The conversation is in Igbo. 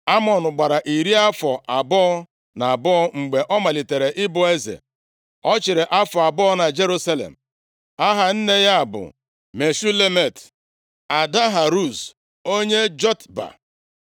Amọn gbara iri afọ abụọ na abụọ mgbe ọ malitere ịbụ eze. Ọ chịrị afọ abụọ na Jerusalem. Aha nne ya bụ Meshulemet, ada Haruz onye Jotba.